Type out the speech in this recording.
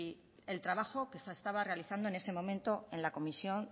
el trabajo que se estaba realizando en ese momento en la comisión